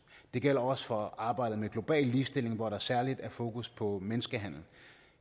det gælder også for arbejdet med global ligestilling hvor der særlig er fokus på menneskehandel